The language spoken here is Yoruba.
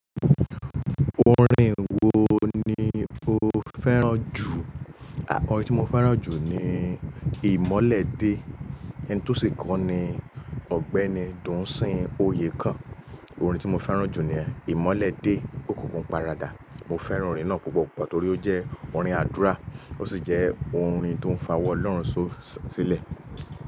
Orin wo ni o fẹ́ràn jù? À mọ́ orin tí mo fẹ́ràn jù ni "Ìmọ́lẹ̀dé". Ẹni tó ṣì kọ ni Ọ̀gbẹ́ni Dunsin Oyekan. Orin tí mo fẹ́ràn jù ni yẹn"Ìmọ́lẹ̀dé", òkùnkùn paradà. Mo fẹ́ràn orin náà púpọ̀ púpọ̀ torí ó jẹ́ orin àdúrà, ó sì jẹ́ orin tó ń fa wọ́ lọ́rùn só-sílẹ̀.